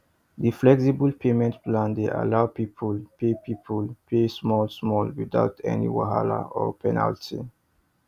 the flexible payment plan dey allow people pay people pay small small without any wahala or penalty